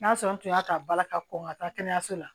N'a sɔrɔ tun y'a ka bala ka kɔn ka taa kɛnɛyaso la